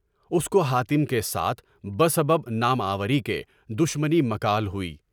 اس کو حاتم کے ساتھ بہ سبب ناموری کے دشمنی مکال ہوئی۔